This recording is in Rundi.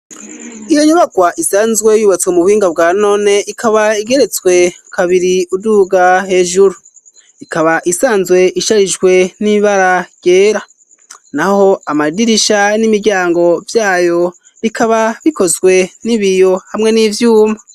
Iyo nyubagwa isanzwe yubatswe mu buhinga bwa none ikaba igeretswe kabiri uduga hejuru. Ikaba isanzwe isharijwe n'ibara ryera. Naho amadirisha n'imiryango vyayo bikaba bikozwe n'ibiyo hamwe n'ivyuma.